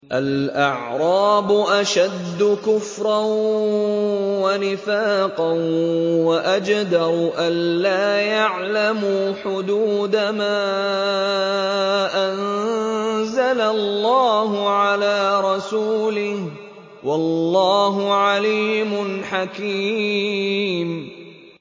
الْأَعْرَابُ أَشَدُّ كُفْرًا وَنِفَاقًا وَأَجْدَرُ أَلَّا يَعْلَمُوا حُدُودَ مَا أَنزَلَ اللَّهُ عَلَىٰ رَسُولِهِ ۗ وَاللَّهُ عَلِيمٌ حَكِيمٌ